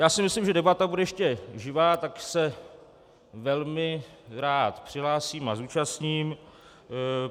Já si myslím, že debata bude ještě živá, tak se velmi rád přihlásím a zúčastním.